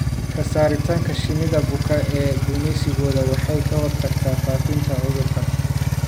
Ka saaritaanka shinnida buka ee gumeysigooda waxay ka hortagtaa faafitaanka cudurka.